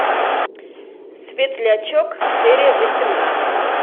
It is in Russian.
светлячок серия восемнадцать